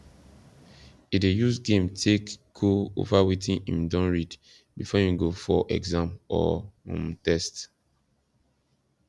he dey use game take go over wetin him don read before him go for exam or um test